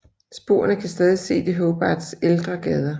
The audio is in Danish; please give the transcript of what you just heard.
Sporene kan stadig ses i Hobarts ældre gader